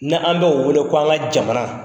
Ne an bɛ o wele ko an ka jamana.